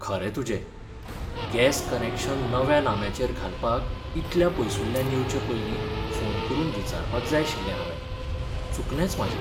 खरें तुजें, gas connection नव्या नाम्याचेर घालपाक इतल्या पयसुल्ल्यान येवचे पयलीं फोन करून विचारपाक जाय आशिल्लें हावें. चुकलेंच म्हाजें.